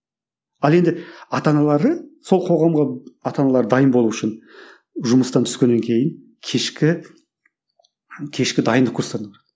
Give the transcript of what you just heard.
ал енді ата аналары сол қоғамға ата аналары дайын болу үшін жұмыстан түскеннен кейін кешкі кешкі дайындық курстарына барады